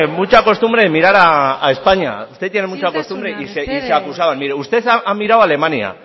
mucha costumbre isiltasuna mesedez mire usted ha mirado a alemania